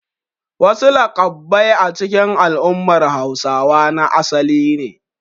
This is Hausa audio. Wasu laƙabbai a cikin al'ummar Hausawa na asali ne.